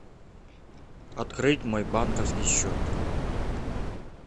открыть мой банковский счет